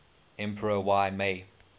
emperor y mei